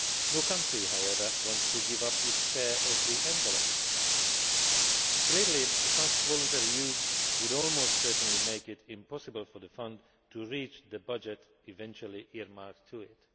No country, however, wants to give up its share of the envelope. Clearly, such voluntary use would almost certainly make it impossible for the Fund to reach the budget eventually earmarked to it.